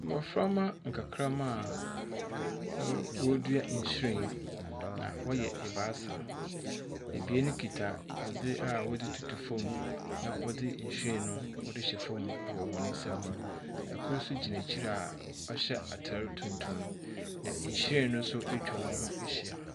Mmɔfra mma nkakramma a wɔredua nhwiren, na wɔyɛ ebaasa. Ebien kita adze a wɔdze tutu fam na wɔdze nhwiren no wɔdze hyɛ fam wɔ hɔn nsam. Kor nso gyina ekyir a ɔhyɛ atar tuntum, na nhwiren no nso atwa hɔn ho ehyia.